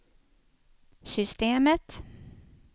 systemet